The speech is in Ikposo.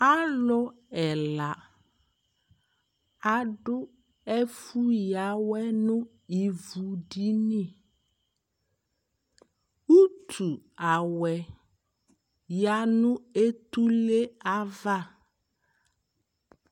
Alʋ ɛla adʋ ɛfʋyawɛ nʋ ivudini Utu awɛ ya nʋ etule ava